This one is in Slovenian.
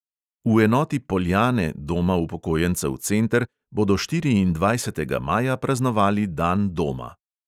V enoti poljane doma upokojencev center bodo štiriindvajsetega maja praznovali dan doma.